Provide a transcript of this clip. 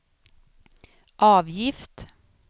avgift